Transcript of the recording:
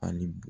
Ani bo